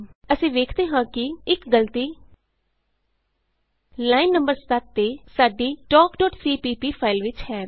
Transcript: ਅਸੀਂ ਵੇਖਦੇ ਹਾਂ ਕਿ - ਇਕ ਗਲਤੀ ਲਾਈਨ ਨੰ 7 ਤੇ ਸਾਡੀ ਫਾਈਲ talkਸੀਪੀਪੀ ਵਿਚ ਹੈ